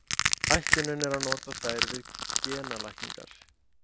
Ætlunin er að nota þær við genalækningar.